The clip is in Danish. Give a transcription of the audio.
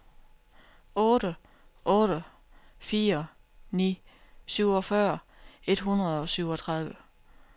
otte otte fire ni syvogfyrre et hundrede og syvogtredive